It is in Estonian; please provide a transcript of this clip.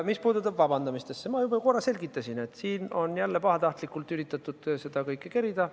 Mis puudutab vabandamist, siis ma korra juba selgitasin, et siin on jälle üritatud pahatahtlikult seda kõike kerida.